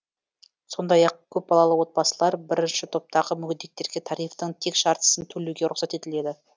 сондай ақ көпбалалы отбасылар бірінші топтағы мүгедектерге тарифтің тек жартысын төлеуге рұқсат етіледі